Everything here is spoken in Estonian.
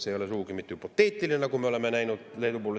See ei ole sugugi mitte hüpoteetiline, nagu me oleme näinud Leedu puhul.